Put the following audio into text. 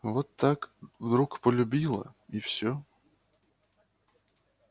вот так вдруг полюбила и всё